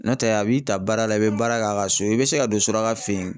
Nɔtɛ a b'i ta baara la i be baara k'a ka so i be se ka don suraka fe yen